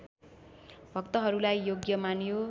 भक्तहरूलाई योग्य मानियो